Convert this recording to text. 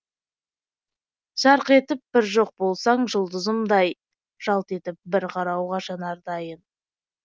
жарқ етіп бір жоқ болсаң жұлдызымдай жалт етіп бір қарауға жанар дайын